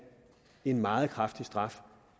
en meget kraftig straf